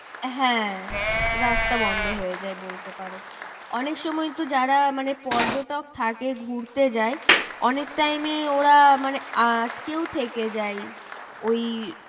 হ্যাঁ রাস্তা বন্ধ হয়ে যায় বলতে পারো। অনেক সময় তো যারা মানে পর্যটক থাকে ঘুরতে যায় অনেক time এ ওরা মানে আটকেও থেকে যায় ওই